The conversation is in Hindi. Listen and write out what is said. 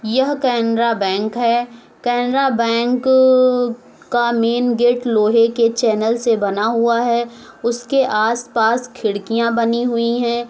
यह केनरा बैंक है केनरा बैंक का मेन गेट लोहे के चैनल से बना हुआ है उसके आसपास खिड़कियाँ बनी हुई हैं।